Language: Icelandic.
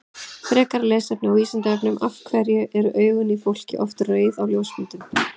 Frekara lesefni á Vísindavefnum Af hverju eru augun í fólki oft rauð á ljósmyndum?